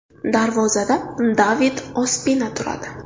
Darvozada David Ospina turadi.